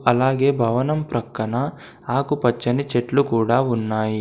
అలాగే భవనం ప్రక్కన ఆకుపచ్చని చెట్లు కూడా ఉన్నాయి.